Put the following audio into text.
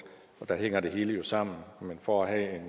og der hænger det hele jo sammen men for at